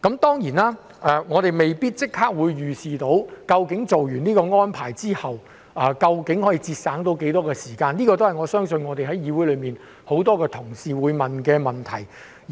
當然，我們未必能夠立刻預視落實這項安排之後，究竟可以節省多少時間，我相信這也是議會內很多同事會提出的問題。